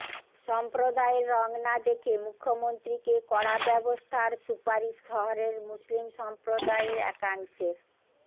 সম্প্রদায়ের রঙ না দেখে মুখ্যমন্ত্রীকে কড়া ব্যবস্থার সুপারিশ শহরের মুসলিম সম্প্রদায়ের একাংশের